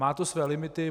Má to své limity.